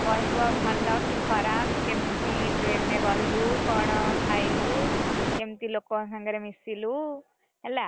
କହିବୁ ଆଉ ଭଲ କି ଖରାପ କେମିତି train ରେ ଗଲୁ କଣ ଖାଇଲୁ, କେମତି ଲୋକଙ୍କ ସାଙ୍ଗରେ ମିଶିଲୁ, ହେଲା।